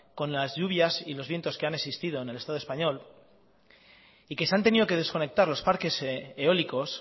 con las lluvias y los vientos que han existido en el estado español y que se han tenido que desconectar los parques eólicos